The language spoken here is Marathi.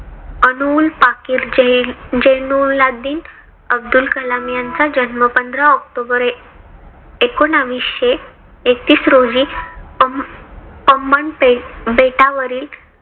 अब्दुल पकिर जैनुलाब्दिन अब्दुल कलाम यांचा जन्म पंधरा october एकोनाविशे एकतीस रोजी पम्मानपेठ बेटावरील